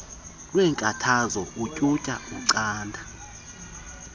weenkathazo utyhutyha ucanda